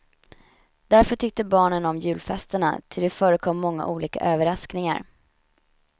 Därför tyckte barnen om julfesterna, ty det förekom många olika överraskningar.